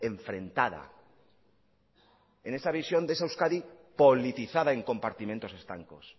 enfrentada en esa visión de esa euskadi politizada en compartimentos estancos